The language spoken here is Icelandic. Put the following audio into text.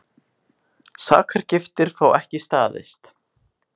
Sakargiftir fá ekki staðist